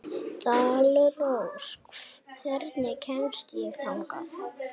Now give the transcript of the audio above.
Dalrós, hvernig kemst ég þangað?